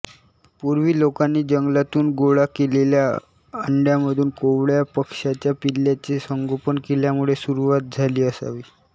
पूर्वी लोकांनी जंगलातून गोळा केलेल्या अंड्यांमधून कोवळ्या पक्ष्यांच्या पिल्लांचे संगोपन केल्यामुळे सुरुवात झाली असावी